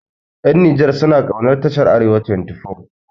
Ƴan Nijar suna kaunar tashar arewa 24